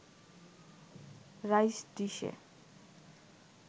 rice ডিশে